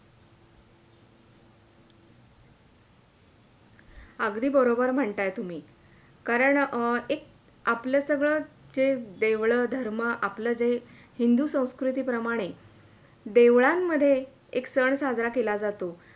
अगदी बरोबर म्हणताय तुम्ही कारण अं एक आपल्या सगळं जे देवळं, धर्म आपल्या जे हिंदू संस्कृति प्रमाणे देवळां मध्ये एक सण साजरा केला जातो